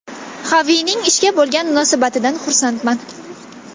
Xavining ishga bo‘lgan munosabatidan xursandman.